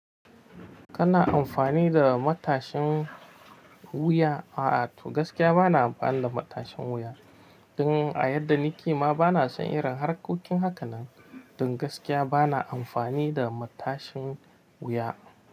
Kana amfani da matashin wuya? A'a, to gaskiya bana amfani da matashin wuya. Don a yadda ni kima bana son irin harkokin haka nan. Don gaskiya bana amfani da matashin wuya.